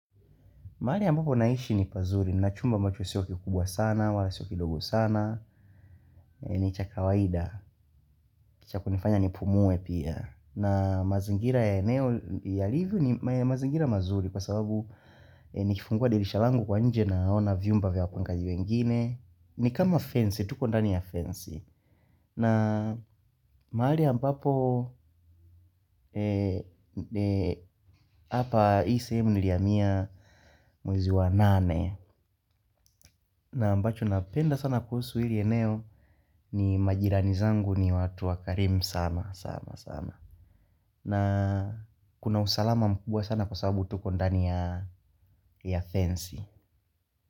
Maari ambapo naishi ni pazuri, ni nachumba ambacho sio kikubwa sana, wala sio kidogo sana, ni cha kawaida, cha kunifanya nipumue pia. Na mazingira ya eneo, ya liviu ni mazingira mazuri kwa sababu nikifungua dirisha langu kwa nje na ona viumba vya wapangaji wengine. Ni kama fensi tuko ndani ya fensi maali hampapo hapa ii seemu niliamia mwezi wa nane. Na ambacho napenda sana kuusu hili eneo ni majirani zangu ni watu wakarimu sana. Na kuna usalama mkubwa sana kwa sababu tuko ndani ya fensi.